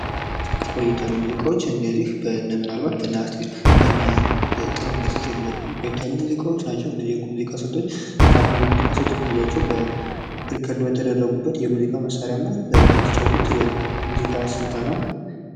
ቆየት ያሉ ሙዚቃዎች እነዚህ ምናልባት በነ አናስቴር፣ በነ ጥላሁን ገሠሠ የተዘፈኑ ሲቆየት ያሉ ሙዚቃዎች ናቸው እነዚህ የሙዚቃ ስልቶች ከአሁን የሙዚቃ ስልቶች የሚለዩበት በሪከርድ በተደረጉበት የሙዚቃ መሳሪያና በተጫወቱት የሙዚቃ ስለታ ነው።